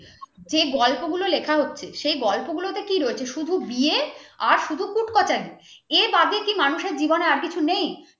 সে গল্পগুলো লেখা হচ্ছে? সে গল্পগুলোতে কি রয়েছে শুধু বিয়ে আর শুধু কুট কাচারি। এ বাদে কি মানুষের জীবনে আর কিছু নেই?